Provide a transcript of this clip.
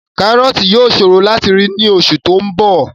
Kárọ̀ọ̀tì yóò ṣòro láti rí láti oṣù tí ó ń bọ̀